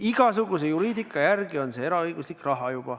Igasuguse juriidika järgi on see juba eraõiguslik raha.